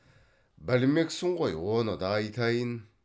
білмексің ғой оны да айтайын